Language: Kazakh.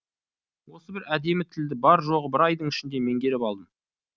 осы бір әдемі тілді бар жоғы бір айдың ішінде меңгеріп алдым